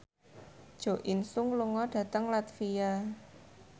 Jo In Sung lunga dhateng latvia